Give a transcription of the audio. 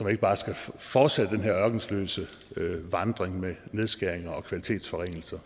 ikke bare skal fortsætte den her ørkesløse vandring med nedskæringer og kvalitetsforringelser